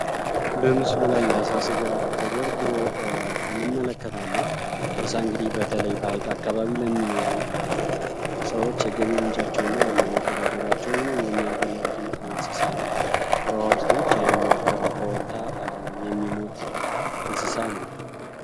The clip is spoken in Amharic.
በምስሉ ላይ የአሳ ስጋ ተደርድሮ እንመለከታለን አሳ እንግዲህ በተለይ በሀይቅ አካባቢ ለሚኖሩ ሰዎች የገቢ ምንጫቸው እና ዋና መተዳደሪያ ሁኖ የሚያገለግል እንስሳ ነው። በዉሀ ውስጥ ብቻ የሚኖር ከውሀ ከወጣ የሚሞት እንስሳ ነው።